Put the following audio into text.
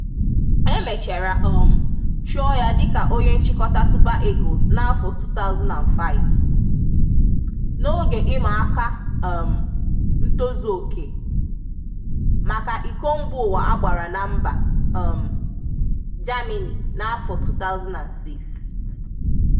E mechara um chụọ ya dịka onye nchịkọta Super Eagles n'afọ 2005, n'oge ị ma áká um ntozụoke, maka ịko Mba Ụwa a gbara na mba um Germany n'afọ 2006.